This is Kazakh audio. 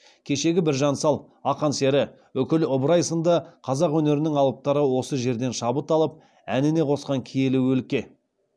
кешегі біржан сал ақан сері үкілі ыбырай сынды қазақ өнерінің алыптары осы жерден шабыт алып әніне қосқан киелі өлке